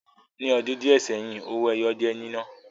Ní ọdún díẹ̀ seyin, owó ẹyọ jẹ́ nínà